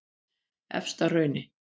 Efstahrauni